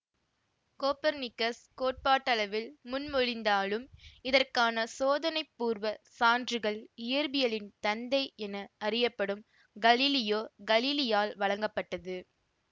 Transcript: Copernicus கோட்பாட்டளவில் முன்மொழிந்தாலும் இதற்கான சோதனைபூர்வ சான்றுகள் இயற்பியலின் தந்தை என அறியப்படும் கலீலியோ கலிலியால் வழங்கப்பட்டது